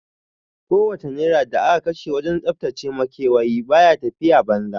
Ko wace naira da aka kashe wajen tsaftace makewayi baya tafiya banza